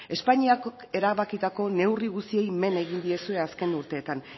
espainiak erabakitako neurri guztiei men egin diezue azken urteetan